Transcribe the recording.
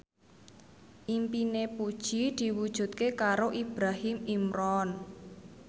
impine Puji diwujudke karo Ibrahim Imran